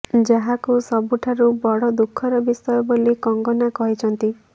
ଯାହାକୁ ସବୁଠାରୁ ବଡ ଦୁଃଖର ବିଷୟ ବୋଲି କଙ୍ଗନା କହିଛନ୍ତି